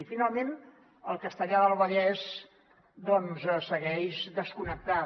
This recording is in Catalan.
i finalment castellar del vallès doncs segueix desconnectada